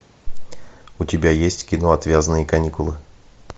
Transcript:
у тебя есть кино отвязные каникулы